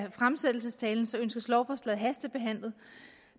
af fremsættelsestalen ønskes lovforslaget hastebehandlet